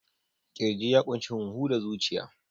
Ƙirji ya ƙunshi huhu da zuciya.